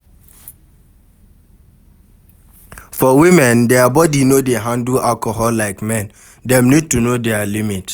For women, their body no dey handle alcohol like men, dem need to know their limit